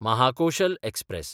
Mahakoshal express